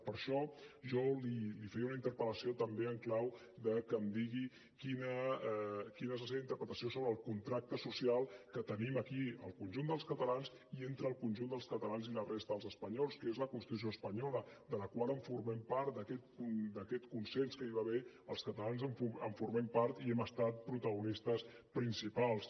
per això jo li feia una interpel·lació en clau de que em digui quina és la seva interpretació sobre el contracte social que tenim aquí el conjunt dels catalans i entre el conjunt dels catalans i la resta dels espanyols que és la constitució espanyola de la qual formem part d’aquest consens que hi va haver els catalans en formem part i hem estat protagonistes principals